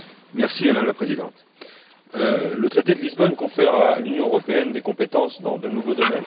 Madame la Présidente, le traité de Lisbonne confère à l'Union européenne des compétences dans de nouveaux domaines.